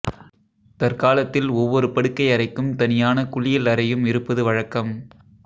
தற்காலத்தில் ஒவ்வொரு படுக்கை அறைக்கும் தனியான குளியல் அறையும் இருப்பது வழக்கம்